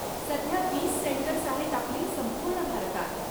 सध्या वीस सेंटर्स आहेत आपली संपूर्ण भारतात.